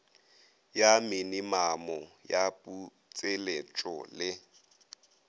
ya minimamo ya putseletšo le